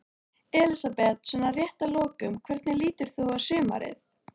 Elísabet: Svona rétt að lokum, hvernig lítur þú á sumarið?